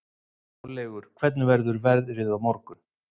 Háleygur, hvernig verður veðrið á morgun?